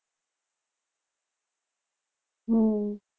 હમ